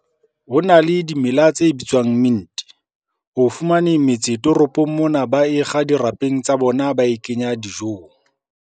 Ho na le dimela tse bitswang mint-e. Ho fumaneng metse toropong mona ba e kga dirapeng tsa bona ba e kenya dijong.